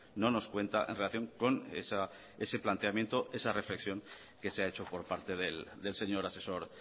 no nos cuenta en relación con ese planteamiento esa reflexión que se ha hecho por parte del señor asesor